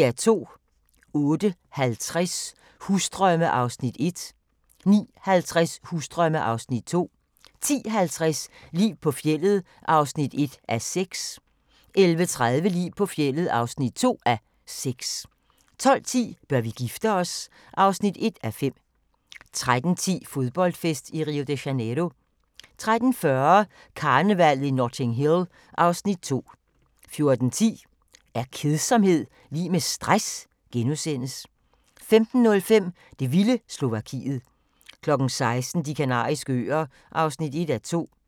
08:50: Husdrømme (Afs. 1) 09:50: Husdrømme (Afs. 2) 10:50: Liv på fjeldet (1:6) 11:30: Liv på fjeldet (2:6) 12:10: Bør vi gifte os? (1:5) 13:10: Fodboldfest i Rio de Janeiro 13:40: Karnevallet i Notting Hill (Afs. 2) 14:10: Er kedsomhed lig med stress? * 15:05: Det vilde Slovakiet 16:00: De Kanariske Øer (1:2)